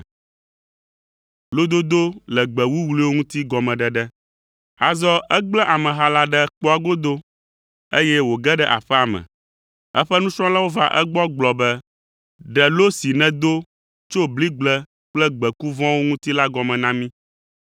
Azɔ egblẽ ameha la ɖe kpɔa godo, eye wòge ɖe aƒea me. Eƒe nusrɔ̃lawo va egbɔ gblɔ be, “Ɖe lo si nèdo tso bligble kple gbeku vɔ̃wo ŋuti la gɔme na mí.”